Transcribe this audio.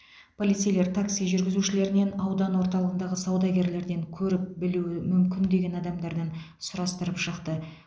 полицейлер такси жүргізушілерінен аудан орталығындағы саудагерлерден көріп білуі мүмкін деген адамдардан сұрастырып шықты